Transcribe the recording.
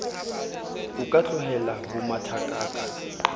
o ka tlohella ho mathakaka